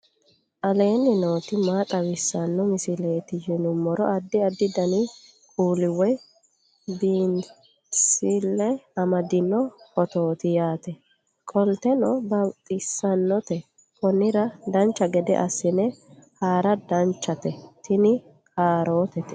aleenni nooti maa xawisanno misileeti yinummoro addi addi dananna kuula woy biinsille amaddino footooti yaate qoltenno baxissannote konnira dancha gede assine haara danchate tini kaarootete